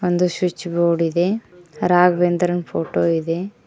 ಒಂದು switch board ಇದೆ ರಾಘವೇಂದ್ರನ್ ಫೋಟೋ ಇದೆ.